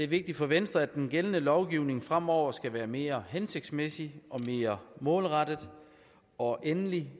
vigtigt for venstre at den gældende lovgivning fremover skal være mere hensigtsmæssig og mere målrettet og endelig